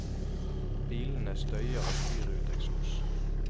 Bilene støyer og spyr ut eksos.